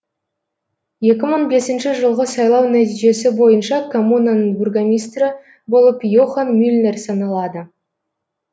екі мың бесінші жылғы сайлау нәтижесі бойынша коммунаның бургомистрі болып йохан мюльнер саналады